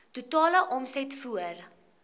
totale omset voor